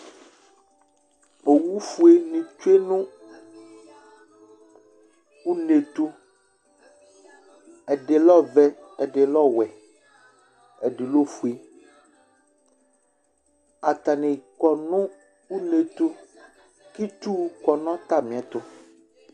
Owu fuele tsue nʋ une tʋ Ɛdi lɛ ɔvɛ, ɛdi lɛ ɔwɛ, ɛdi lɛ ofue Atani kɔ nʋ une tʋ, k'itsuwʋ kɔ n'atamiɛtʋ